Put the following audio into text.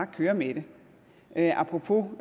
køre med det apropos